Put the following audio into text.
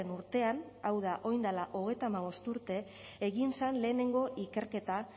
urtean hau da orain dela hogeita hamabost urte egin zen lehenengo ikerketa